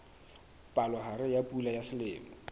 palohare ya pula ya selemo